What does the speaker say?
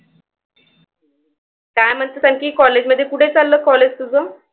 काय म्हणतेस आणखी college मध्ये कुठे चाललं college तुझं?